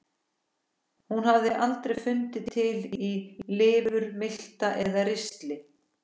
Hún hafði aldrei fundið til í lifur, milta eða ristli.